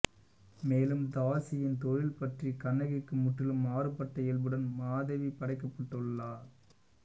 மேலும் தாசியின் தொழில் பற்றி கண்ணகிக்கு முற்றிலும் மாறுபட்ட இயல்புடன் மாதவி படைக்கப்பட்டுள்ளாள்